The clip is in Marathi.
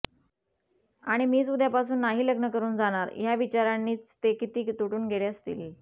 आणि मीच उद्यापासून नाही लग्न करून जाणार ह्या विचारांनी च ते किती तुटून गेले असतील